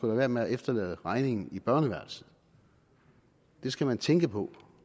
være med at efterlade regningen i børneværelset det skal man tænke på